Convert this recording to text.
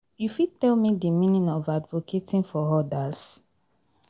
You fit tell me di meaning of advocating for others?